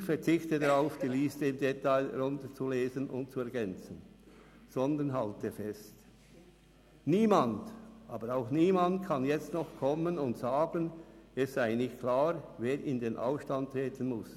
Ich verzichte darauf, die Liste im Detail herunterzulesen und zu ergänzen, sondern halte fest: Niemand, aber auch niemand kann jetzt noch kommen und sagen, es sei nicht klar, wer in den Ausstand treten müsse.